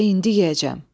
Elə indi yeyəcəm.